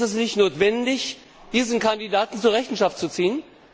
Ist es nicht notwendig, diesen Kandidaten zur Rechenschaft zu ziehen?